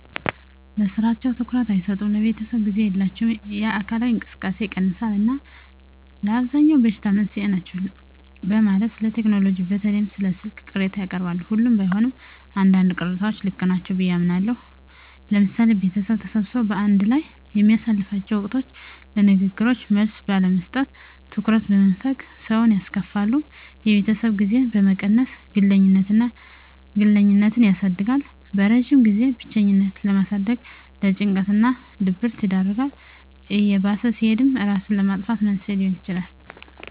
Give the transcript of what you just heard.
ለስራቸው ትኩረት አይሰጡም፣ ለቤተሰብ ጊዜ የላቸውም፣ የአካላዊ እንቅስቃሴ ይቀንሳል እና ለአብዛኛው በሽታ መንስኤ ናቸው በማለት ስለቴክኖሎጂ በተለይም ስለ ስልክ ቅሬታ ያቀርባሉ። ሁሉም ባይሆን አንዳንድ ቅሬታዎች ልክ ናቸው ብየ አምናለሁ። ለምሳሌ ቤተሰብ ተሰብስቦ በአንድ ላይ በሚያሳልፍላቸው ወቅቶች ለንግግሮች መልስ ባለመስጠት፣ ትኩረት በመንፈግ ሰውን ያስከፋሉ። የቤተሰብ ጊዜን በመቀነስ ግለኝነትን ያሳድጋል። በረጅም ጊዜም ብቸኝነትን በማሳደግ ለጭንቀት እና ድብረት ይዳርጋል። እየባሰ ሲሄድም እራስን ለማጥፋት መንስኤ ሊሆን ይችላል።